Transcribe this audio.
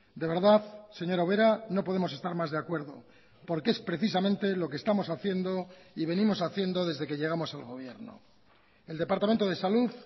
de verdad señora ubera no podemos estar más de acuerdo porque es precisamente lo que estamos haciendo y venimos haciendo desde que llegamos al gobierno el departamento de salud